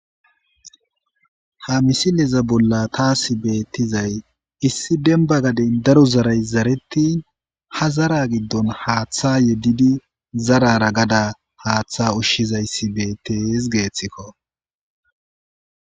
Ha misileza bolla taasi beettizay issi demba gadeyn daro zaray zarettin; ha zara giddon haaththa yeddidi zarara gada haaththa ushshizayssi beettees geeththikko.